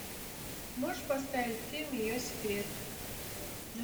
можешь поставить фильм ее секрет